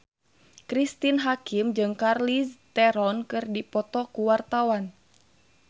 Cristine Hakim jeung Charlize Theron keur dipoto ku wartawan